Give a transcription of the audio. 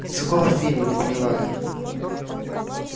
из какого фильма не поняла я